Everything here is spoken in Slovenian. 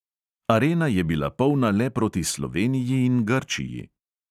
Arena je bila polna le proti sloveniji in grčiji.